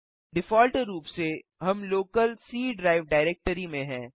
default रूप से हम लोकल सी ड्राइव डाइरेक्टरी में हैं